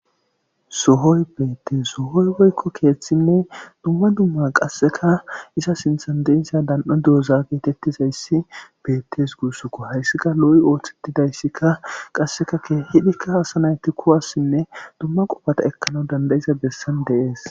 sohoy beettes sohoy boykko keeththinne dumma dumma qasseka isa sintandesiya dan7e dooza geetettizayssi beettes guussukko hayssika lo7i ooththettidayssikka qasseka kehidikka hasanayti kuwassinne dumma qofata ekkana dandayiza bessan deees